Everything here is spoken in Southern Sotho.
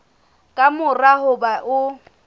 ka mora ho ba o